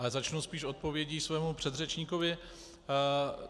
Ale začnu spíš odpovědí svému předřečníkovi.